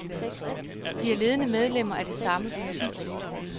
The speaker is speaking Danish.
De er ledende medlemmer af det samme parti.